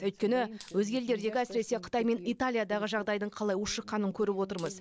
өйткені өзге елдердегі әсіресе қытай мен италиядағы жағдайдың қалай ушыққанын көріп отырмыз